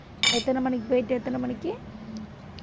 எத்தனை மணிக்கு போயிட்டு எத்தனை மணிக்கு